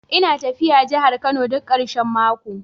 Ina tafiya jihar Kano duk karshen mako